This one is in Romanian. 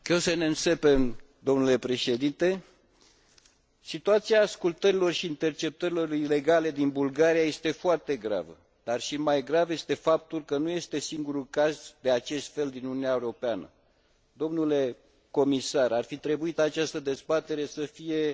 Situația ascultărilor și interceptărilor ilegale din Bulgaria este foarte gravă, dar și mai grav este faptul că nu este singurul caz de acest fel din Uniunea Europeană Domnule comisar, ar fi trebuit ca această dezbatere să fie și despre altă țară membră, și anume România.